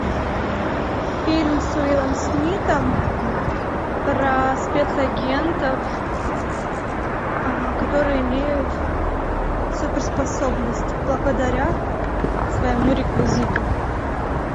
фильм с уиллом смитом про спецагентов которые имеют суперспособность благодаря своему реквизиту